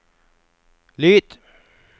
lyd